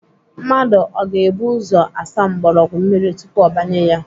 Mmadụ ọ ga-ebu ụzọ asa mgbọrọgwụ mmiri tupu ọ banye ya?